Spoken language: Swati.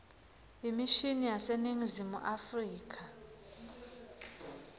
imishini yaseningizimu afrika